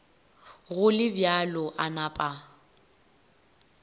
go le bjalo a napa